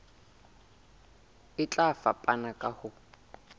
e tla fapana ka ho